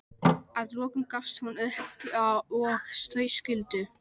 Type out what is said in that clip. Að lokum gafst hún upp og þau skildu.